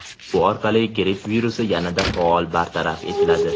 Bu orqali gripp virusi yanada faol bartaraf etiladi.